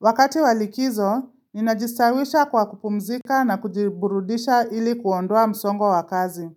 Wakati wa likizo, ninajistawisha kwa kupumzika na kujiburudisha ili kuondoa msongo wa kazi.